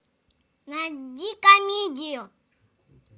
найди комедию